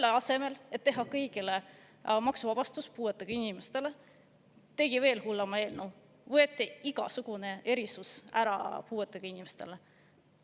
Selle asemel, et teha kõigile puuetega inimestele maksuvabastus, tegi veel hullema eelnõu – võeti ära igasugune erisus puuetega inimestele.